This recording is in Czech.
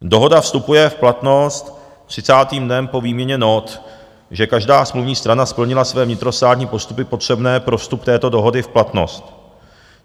Dohoda vstupuje v platnost třicátým dnem po výměně nót, že každá smluvní strana splnila své vnitrostátní postupy potřebné pro vstup této dohody v platnost.